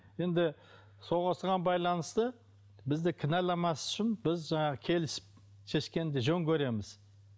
енді сол осыған байланысты бізді кінәламас үшін біз жаңағы келісіп шешкенді жөн көреміз